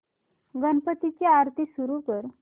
गणपती ची आरती सुरू कर